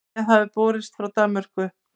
Bréf hafði borist frá Danmörku.